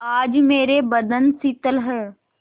आज मेरे बंधन शिथिल हैं